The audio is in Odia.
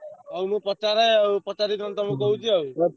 ହଉ ମୁଁ ପଚାରେ ଆଉ ପଚାରିକି ନହଲେ ତମକୁ କହୁଛି ଆଉ।